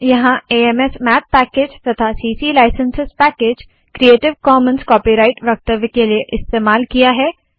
यहाँ amsmath package तथा ccलाइसन्सेस क्रीऐटिव कॉमन कॉपीराइट वक्तव्य के लिए इस्तेमाल किया है